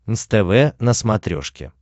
нств на смотрешке